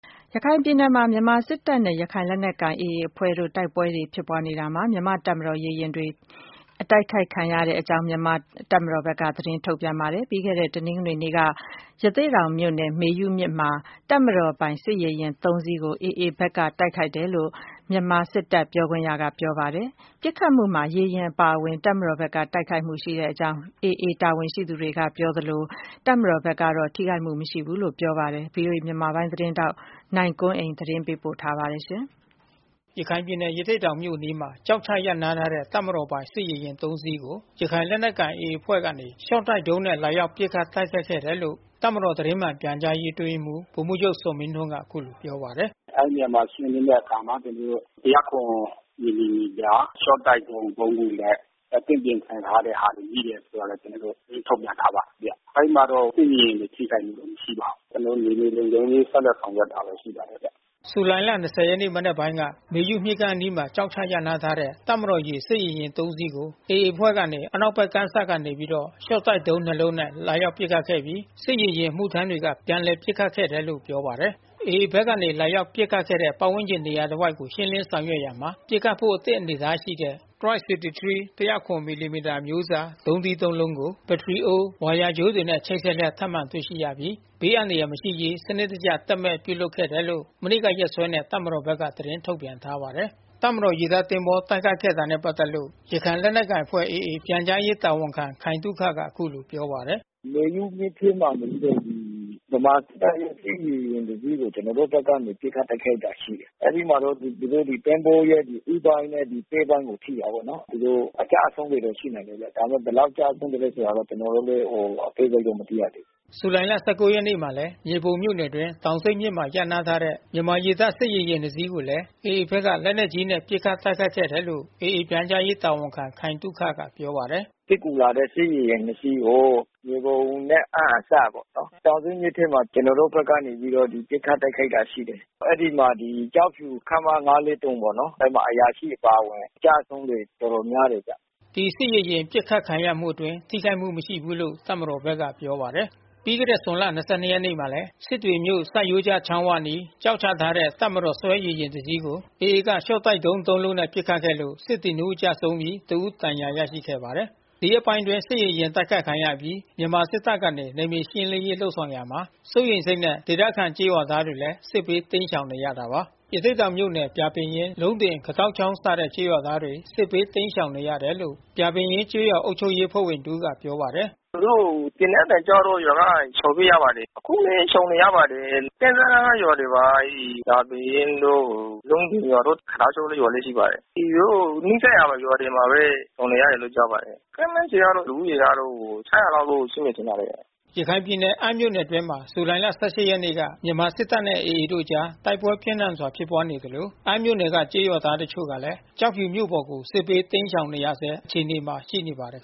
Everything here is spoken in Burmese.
ရခိုင်ပြည်နယ်မှာ မြန်မာစစ်တပ်နဲ့ ရခိုင်လက်နက်ကိုင် AA အဖွဲ့တို့ တိုက်ပွဲတွေ ဖြစ်ပွားနေရာမှာ မြန်မာ့တပ်မတော် ရေယာဉ်တွေ တိုက်ခိုက်ခံရကြောင်း တပ်မတော်ဘက်က သတင်း ထုတ်ပြန်ထားပါတယ်။ ပြီးခဲ့တဲ့တနင်္ဂနွေနေ့က ရသေ့တောင်မြို့နယ် မေယုမြစ်မှာ တပ်မတော်ပိုင်စစ်ရေယာဉ် ၃ စီးကို AA ဘက်က တိုက်ခိုက်တယ်လို့ မြန်မာစစ်တပ်ပြောခွင့်ရက ပြောပါတယ်။ ပစ်ခတ်မှုမှာ ရေယာဉ်အပါဝင် တပ်မတော်ဘက်က ထိခိုက်မှု ရှိခဲ့ကြောင်း AA တာဝန်ရှိသူတွေက ပြောဆိုနေသလို တပ်မတော်ဘက်က ထိခိုက်မှု မရှိကြောင်း ပြောဆိုပါတယ်။ ဗွီအိုအေ မြန်မာပိုင်းသတင်းထောက် နိုင်ကွန်းအိန်ကနေ သတင်းပေးပို့ထားပါတယ်။ ရခိုင်ပြည်နယ် ရသေ့တောင်မြို့အနီးမှာ ကျောက်ချရပ်နားထားတဲ့ တပ်မတော်ပိုင် စစ်ရေယာဉ် ၃ စီးကို ရခိုင်လက်နက်ကိုင် AA အဖွဲ့ကနေ ရှော့တိုက်ဒုံးနဲ့ လာရောက် ပစ်ခတ်တ ိုက်ခိုက်ခဲ့တယ်လို့ တပ်မတော ်သတင်းမှန်ပြန်ကြားရေး အတွင်းရေးမှူး ဗိုလ်မှူးချုပ်ဇော်မင်းထွန်းက အခုလိုပြောပါတယ်။ “အဲဒီနေရာကို ရှင်းလင်းတဲ့အခါမှာ ကျနော်တို့ ၁၀၇ မီလီမီတာ ရှော့တိုက်ဒုံး ၃ ခုနဲ့ အသင့်ပြင်ဆင်ထားတဲ့ဟာတွေ မိတယ်ဆိုတာ ကျနော်တို့ သတင်း ထုတ်ပြန်ထားပါတယ်ဗျ။ အဲဒီမှာတော့ စစ်ရေယာဉ်တွေ ထိခိုက်မှုတော့ မရှိပါဘူး။ ကျနော်တို့ မြေပြင်လုံခြုံရေး ဆက်လက်ဆောင်ရွက်တာပဲ ရှိပါတယ်ဗျ။” ဇူလိုင်လ ၂၀ ရက် နံနက်ပိုင်းက မေယုမြစ်ကမ်းအနီးမှာ ကျောက်ချ ရပ်နားထားတဲ့ တပ်မတော် ရေတပ် စစ်ရေယာဉ် ၃ စီး ကို AA အဖွဲ့ကနေ အနောက်ဘက် ကမ်းစပ်ကနေပြီးတော့ ရှော့တိုက်ဒုံး ၂ လုံးနဲ့ လာရောက်ပစ်ခတ်ခဲ့ပြီး စစ်ရေယာဉ် အမှုထမ်းတွေက ပြန်လည်ပစ်ခတ်ခဲ့တယ်လို့ ပြောပါတယ်။ AA ဘက်ကနေ လာရောက် ပစ်ခတ်ခဲ့တဲ့ ပတ်ဝန်းကျင်နေရာတဝိုက်ကို ရှင်းလင်းဆောင်ရွက်ရာမှာ ပစ်ခတ်ဖို့ အသင့် အနေအထားရှိတဲ့ Type 63 ၁၀၇ မီလီမီတာ အမျိုးအစားဒုံးသီး ၃ လုံးကို ဘတ္တရီအိုး၊ ဝါယာကြိုးတွေနဲ့ ချိတ်ဆက်လျက် ထပ်မံ တွေ့ရှိရပြီး ဘေးအန္တရာယ် မရှိစေရေး စနစ်တကျ သက်မဲ့ပြုလုပ်ခဲ့တယ်လို့ မနေ့က ရက်စွဲနဲ့ တပ်မတော်ဘက်က သတင်း ထုတ်ပြန်ထားပါတယ်။ တပ်မတော်ရေတပ ်သင်္ဘောတိုက်ခိုက်ခဲ့တာနဲ့ ပတ်သက်လို့ ရခိုင်လက်နက်ကိုင်အဖွဲ့ AA ပြန်ကြားရေးတာဝန်ခံ ခိုင်သုခက အခုလိုပြောပါတယ်။ “မေယုမြစ်ထဲမှာနေပြီးတော့ ဗမာစစ်တပ်ရဲ့ စစ်ရေယာဥ ်တစီးကို ကျနော်တို့ဘက်က ပစ်ခတ်တိုက်ခိုက်ခဲ့တာ ရှိတယ်။ အဲဒီမှာတော့ သူတို့ရဲ့ သဘောၤရဲ့ ဦးပိုင်းနဲ့ ပဲ့ပိုင်းကို ထိတာပေါ့နော်။ သူတို့ အကျအဆုံးတွေ ရှိနိုင်တယ်ဗျ။ ဒါပေမဲ့ ဘယ်လောက်ကျဆုံးသလည်းဆ ိုတာတော့ ကျနော်တို့လည်း အသေးစိတ် မသိရသေးဘူး။” ဇူလိုင်လ ၁၉ ရက်နေ့မှာလည်း မြေပုံမြို့နယ်အတွင်း တောင်ဆိတ်မြစ်မှာ ရပ်နားထားတဲ့ မြန်မာရေတပ် စစ်ရေယာဉ် နှစ်စီးကိုလည်း AA ဘက်က လက်နက်ကြီးနဲ့ ပစ်ခတ်တိုက်ခိုက်ခဲ့တယ်လို့ AA ပြန်ကြားရေးတာဝန်ခံခိုင်သုခက ပြောပါတယ်။ “စစ်ကူလာတဲ့ စစ်ရေယာဉ် နှစ် စီးကို မြေပုံနဲ့အမ်း အစပ်ပေါ့နော်။ တောင်ဆိတ်မြစ်ထဲမှာ နေပြီးတော့ ကျနော်တို့ဘက်က ပစ်ခတ်တိုက်ခိုက်တာရ ှိတယ်။ အဲဒီမှာကျောက်ဖြူ ခမရ ၅၄၃ ပေါ့နော်။ အဲဒီမှာ အရာရှိအပါဝင် ကျဆုံးတွေတော်တော်များတယ်ဗျ။” ဒီစစ်ရေယာဉ် ပစ်ခတ်ခံရမှုအတွင်း ထိခိုက်မှုမရှိဘူးလို့ တပ်မတော်ဘက်က ပြောပါတယ်။ ပြီးခဲ့တဲ့ဇွန်လ ၂၂ ရက်ကလည်း စစ်တွေမြို့ ဆတ်ရိုးကျချောင်းဝအနီး ကျောက်ချထားတဲ့ တပ်မတော်ဆွဲ ရေယာဉ် တစီးကို AA က ရှော့တိုက်ဒုံး သုံးလုံးနဲ့ ပစ်ခတ်ခဲ့လို့ စစ်သည် နှစ်ဦး ကျဆုံးပြီး တဦး ဒဏ်ရာရခဲ့ပါတယ်။ ဒီရက်ပိုင်း စစ်ရေယာဉ် တိုက်ခိုက်ခံရအပြီး မြန်မာစစ်တပ်ကနေ နယ်မြေရှင်းလင်းရေး လုပ်ဆောင်ရာမှာ စိုးရိမ်စိတ်နဲ့ ဒေသခံကျေး ရွာသားတွေလည်း စစ်ဘေး တိမ်းရှောင်နေကြရတာပါ။ ရသေ့တောင်မြို့နယ် ပြာပင်ရင်း၊ လုံးတင်၊ ခတောက်ချောင်းစတဲ့ ကျေးရွာသားတွေ စစ်ဘေးတိမ်းရှောင်နေရတယ်လို့ ပြာပင်ရင်းကျေးရွာအုပ်ချုပ်ရေးအဖွဲ့ဝင်တဦးကပြောပါတယ်။ “သူတို့ သေနတ်သံကြားတော့ ရွာက ရှောင်ပြေးရပါတယ်။ အခုလည်း ရှောင်နေရပါတယ်။ ကမ်းစပ်နားက ရွာတွေပါ။ အဲဒီ ပြာပင်ရင်းတို့ လုံးတင်ရွာတို့ ခတောက်ချောင်းရွာလည်း ရှိပါတယ်။ သူတို့ နီးစပ်ရာ ရွာတွေမှာပဲ ရှောင်နေတယ်လို့ ပြောပါတယ်။ ခန့်မှန်းခြေကတော့ လူဦးရေကတော့ ၆၀၀ လောက်တော့ရှိမယ် ထင်ပါတယ်။” ရခိုင်ပြည်နယ် အမ်းမြို့နယ်အတွင်းမှာ ဇူလိုင်လ ၁၈ ရက်နေ့က မြန်မာစစ်တပ်နဲ့ AA တို့အကြား တိုက်ပွဲပြင်းထန်စွာ ဖြစ်ပွားနေသလို အမ်းမြို့နယ်က ကျေးရွာသား တချို့ကလည်း ကျောက်ဖြူမြို့ပေါ်ကို စစ်ဘေးတိမ်းရှောင်နေရဆဲ အခြေအနေမှာ ရှိနေပါတယ်